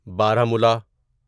بارہ مولہ